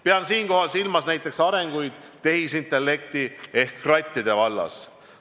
Pean siinkohal silmas näiteks arengut tehisintellekti ehk krattide vallas.